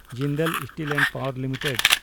Jindal steel and power limited